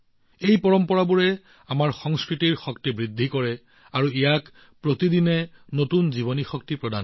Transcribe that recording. এই পৰম্পৰাবোৰে আমাৰ সংস্কৃতিৰ শক্তি বৃদ্ধি কৰে আৰু ইয়াক দৈনিক নতুন জীৱনীশক্তিও দিয়ে